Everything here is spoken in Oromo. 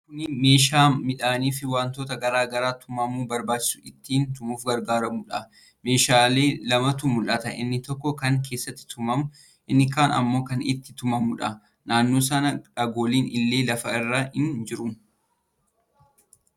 Kuni meeshaa midhaanii fi wantoota garaa garaa tumamuun barbaachisu ittiin tumuuf gargaarudha. Meeshaa lamatu mul'ata: inni tokko kan keessatti tumamu, inni kaan ammoo kan ittiin tumamuudha. Naannoo san dhagoonni illee lafa irra ni jiru.